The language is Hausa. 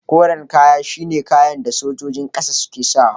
Koren kaya shi ne kayan da sojojin ƙasa suke sa wa.